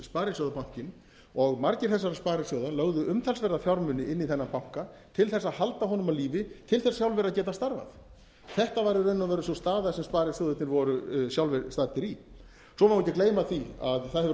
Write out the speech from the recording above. sparisjóðabankinn og margir þessara sparisjóða lögðu umtalsverða fjármuni til þess að halda honum á lífi til þess sjálfir að geta starfað þetta var í raun og veru sú staða sem sparisjóðirnir voru sjálfir staddir í svo má ekki gleyma því að það hefur orðið